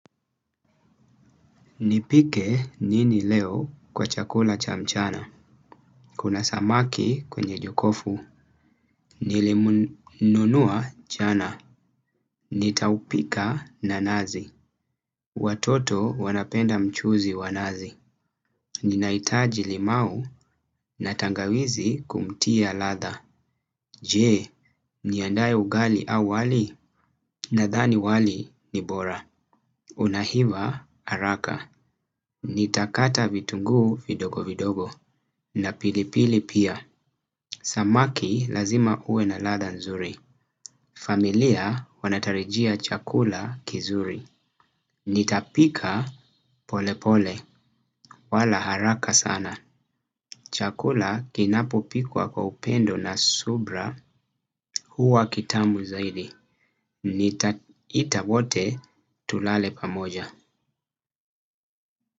Nipike nini leo kwa chakula cha mchana. Kuna samaki kwenye jokofu. Nilimununua jana. Nitaupika na nazi. Watoto wanapenda mchuzi wa nazi. Ninahitaji limau na tangawizi kumtia latha. Je, niandaye ugali au wali nadhani wali ni bora. Unahiva haraka. Nitakata vitungu vidogo vidogo na pilipili pia. Samaki lazima uwe na ladha nzuri. Familia wanatarijia chakula kizuri. Nitapika polepole wala haraka sana. Chakula kinapopikwa kwa upendo na subra huwa kitamu zaidi nitaita wote tulale pamoja.